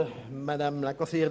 Gasser hat das Wort.